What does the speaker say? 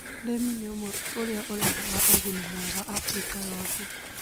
ũrĩmi nĩ ũmwe ũrĩa ũreha ũguni mwega Afrika yothe.